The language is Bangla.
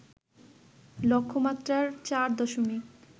লক্ষ্যমাত্রার ৪ দশমিক